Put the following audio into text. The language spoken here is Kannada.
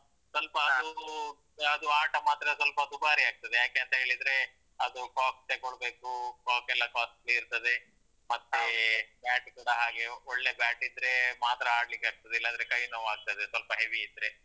ಸೊಲ್ಪ. ಅದು ಆಟ ಮಾತ್ರ ಸ್ವಲ್ಪ ದುಬಾರಿಯಾಗ್ತದೆ. ಯಾಕೆಂತ ಹೇಳಿದ್ರೆ, ಅದು cock ತೆಗೊಳ್ಬೇಕು, cock ಎಲ್ಲ costly ಇರ್ತದೆ, ಮತ್ತೆ bat ಕೂಡ ಹಾಗೆ ಒಳ್ಳೆ bat ಇದ್ರೆ ಮಾತ್ರ ಆಡ್ಲಿಕ್ಕೆ ಆಗ್ತದೆ. ಇಲ್ಲಾಂದ್ರೆ ಕೈ ನೋವು ಆಗ್ತದೆ, ಸ್ವಲ್ಪ heavy ಇದ್ರೆ.